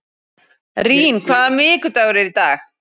Rín, hvaða vikudagur er í dag?